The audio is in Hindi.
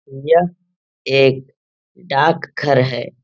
यह एक डाक घर है।